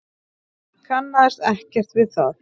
Kannaðist ekkert við það.